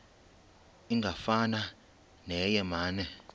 ingafana neye mane